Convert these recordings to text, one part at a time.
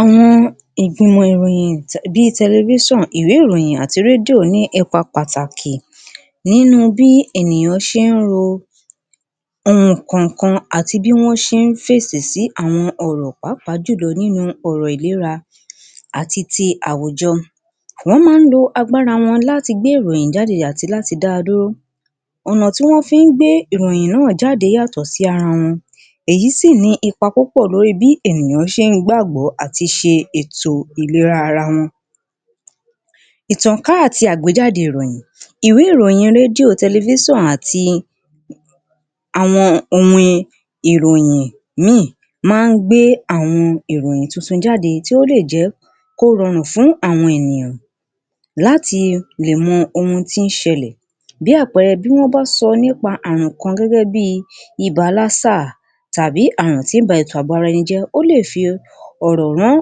Àwọn ìgbìmọ̀ ìròyìn bí i tẹlifísọn, ìwé-ìròyìn àti rédíò ní ipa pàtàkì nínú bí ènìyàn ṣe ń lo àwọn kan kan àti bí wọ́n ṣe ń fèsì sí àwọn ọ̀rọ̀ pàápàá jùlọ nínú ọ̀rọ̀ ìlera àti ti àwùjọ. Wọ́n máa ń lo agbára wọn láti gbé ìròyìn jáde àti láti dá a dúró. ọ̀nà tí wọ́n fi ń gbé ìròyìn náà jáde yàtọ̀ sí ara wọn èyí sì ní ipa púpọ̀ lórí bí ènìyàn ṣe ń gbàgbọ́ àti ṣe ètò ìlera ara wọn. Ìtànká àti àgbéjáde ìròyìn. Ìwé-ìròyìn rédíò, tẹlifíṣànù àti àwọn ohun ìròyìn míì náa ń gbé àwọn ìròyìn tuntun jáde tí ó lè jẹ́ kó rọrùn fún àwọn ènìyàn láti lè mọ ohun tí ń ṣẹlẹ̀. Bí àpẹrẹ bí wọ́n bá sọ nípa ààrùn kan gẹ́gẹ́ bí i ààrùn lásà tàbí ààrùn tí ń ba ara ẹni jẹ́ ó lè fi ọ̀rọ̀ rán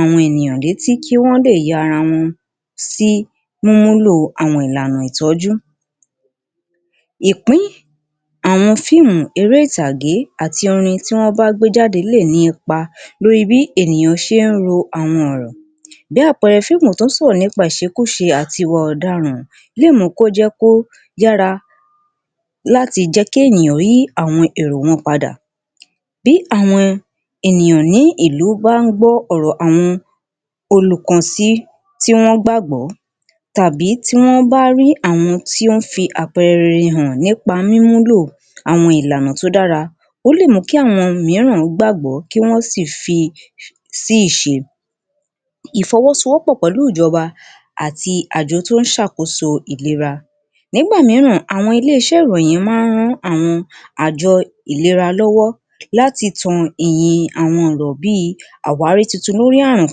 àwọn ènìyàn létí kí wọ́n lè ya ara wọn sí mímú lò àwọn ìlànà ìtọ́jú. Ìpín àwọn fíímù, eré ìtàgé àti orin tí wọ́n gbé jáde lè ní ipa lórí bí ènìyàn ṣe ń lo àwọn ọ̀rọ̀. Bí àpẹrẹ, fíìmù tó sọ̀rọ̀ nípa ìṣekúṣe àti ìwà ọ̀daràn lè mú kó jẹ́ kó dára láti jẹ́ kí àwọn ènìyàn yí èrò wọn padà. Bí àwọn ènìyàn ní ìlú bá ń gbọ́ ọ̀rọ̀ àwọn olùkànsí tí wọ́n gbàgbọ́ tàbí tí wọ́n bá rí àwọn tí ó ń fi àpẹrẹ rere hàn nípa mímú lò àwọn ìlànà tí ó dára ó lè múkí àwọn mìíràn gbàgbọ́ kí wọ́n sì fi sí ìṣe. Ìfọwọ́sowọ́pọ̀ pẹ̀lú ìjọba àti àjọ tó ń ṣàkóso ìlera. Nígbà mìíràn àwọn ilé-iṣẹ́ ìròyìn máa ń rán àwọn àjọ ìlera lọ́wọ́ láti tan ìhìn àwọn ọ̀rọ̀ bí i àwárí tuntun lórí ààrùn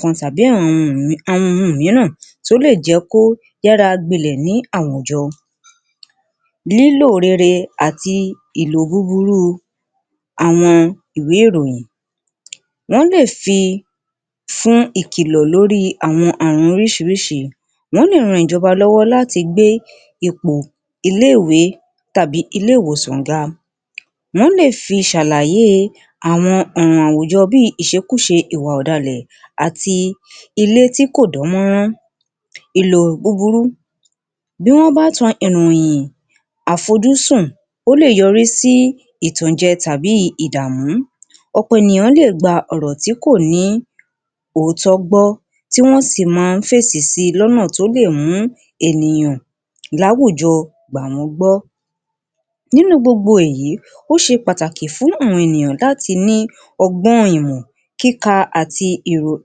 kan tàbí àwọn àrùn mìíràn tó lè jẹ́ kó yára gbilẹ̀ ní àwùjọ. Lílò rere àti ìlò búburú àwọn ìwé ìròyìn. Wọ́n lè fi fún ìkìlọ̀ lórí àwọn ààrùn oríṣiríṣi, wọ́n lè ran ìjọba lọ́wọ́ láti gbé ipò ilé-ìwé tàbí ilé ìwòsàn ga, wọ́n lè fi ṣàlàyé àwọn ọ̀nà àwùjọ bí i ìṣekúṣe, ìwà ọ̀dàlẹ̀ àti ilé tí kò dán mọ́rán, ìròyìn búburú. Bí wọ́n bá tan ìròyìn àfojúsùn ó lè yọrí sí ìtànjẹ tàbí ìdàmú, ọ̀pọ̀ ènìyàn lè gba ọ̀rọ̀ tí kò ní òótọ́ gbọ́ tí wọ́n sì máa ń fèsì si lọ́nà tó lè mú ènìyàn láwùjọ gbà wọ́n gbọ́. Nínú gbogbo èyí ó ṣe pàtàkì fún gbogbo ènìyàn láti ní ọgbọ́n, ìmọ àti kíka àti um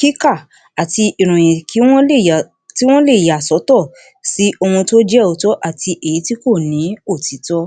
kíkà àti ìròyìn kí wọ́n lè ya tí wọ́n lè yà sọ́tọ̀ sí ohun tó jẹ́ òótọ́ àti èyí tí kò ní òtítọ́.